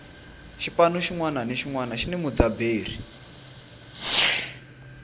xipano xinwana ni xinwana xini mudzaberi